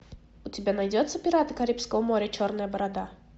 у тебя найдется пираты карибского моря черная борода